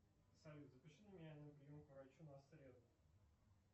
салют запиши меня на прием к врачу на среду